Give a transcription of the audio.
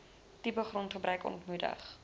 tipe grondgebruik ontmoedig